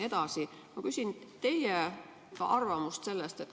Ma küsin teie arvamust.